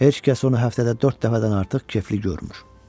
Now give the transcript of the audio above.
Heç kəs onu həftədə dörd dəfədən artıq kefli görmür.